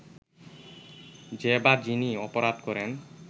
যে বা যিনি অপরাধ করেন